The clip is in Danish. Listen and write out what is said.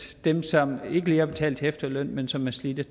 dem som ikke lige har betalt til efterløn men som er slidte